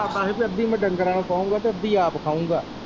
ਇਰਦਾ ਹੀ ਪੀ ਅੱਧੀ ਮੈਂ ਡੰਗਰਾਂ ਨੂੰ ਪਾਊਗਾ ਤੇ ਅੱਧੀ ਆਪ ਖਾਓਗਾ।